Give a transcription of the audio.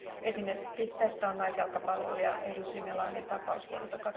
Esimerkki tästä on naisjalkapalloilija Eudy Simelanen tapaus vuodelta